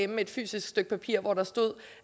med et fysisk stykke papir hvor der står